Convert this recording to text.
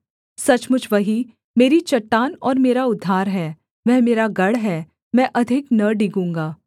सचमुच वही मेरी चट्टान और मेरा उद्धार है वह मेरा गढ़ है मैं अधिक न डिगूँगा